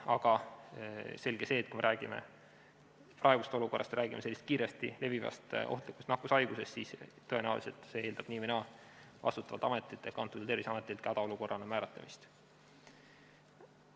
Aga selge see, et kui me räägime praegusest olukorrast ja sellest kiiresti levivast ohtlikust nakkushaigusest, siis tõenäoliselt eeldab see vastutavalt ametilt ehk antud juhul Terviseametilt nii või naa ka olukorra hädaolukorrana määratlemist.